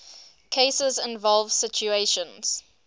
cases involve situations